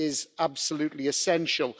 it is absolutely essential.